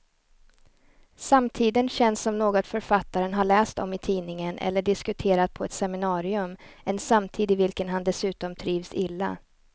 Samtiden känns som något författaren har läst om i tidningen eller diskuterat på ett seminarium, en samtid i vilken han dessutom trivs illa.